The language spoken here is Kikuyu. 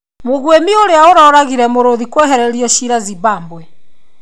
Mũgúĩmi ũrĩa ũroragire mũrũthi kwehererio cira Zimbabwe.